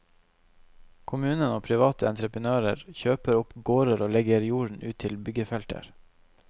Kommunen og private entreprenører kjøper opp gårder og legger jorden ut til byggefelter.